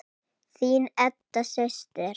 Þín Edda systir.